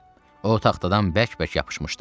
O taxtadan bərk-bərk yapışmışdı.